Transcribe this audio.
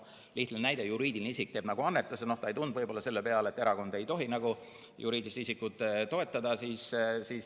Lihtne näide: juriidiline isik teeb annetuse, ta ei tulnud võib-olla selle peale, et erakonda ei tohi juriidilised isikud toetada.